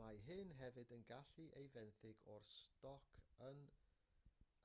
mae hyn hefyd yn gallu cael ei fenthyg o'r stoc yn